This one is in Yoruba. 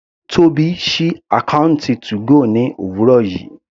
Tóbi sí àkọ́ùntì 2go ní òwúrọ̀ yìí.